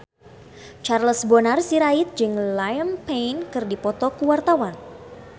Charles Bonar Sirait jeung Liam Payne keur dipoto ku wartawan